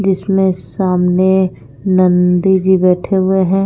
जिसमें सामने नंदी जी बैठे हुए हैं।